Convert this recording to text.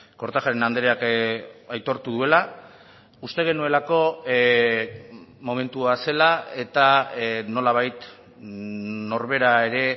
kortajarena andreak aitortu duela uste genuelako momentua zela eta nolabait norbera ere